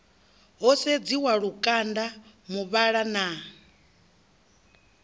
ho sedziwa lukanda muvhala na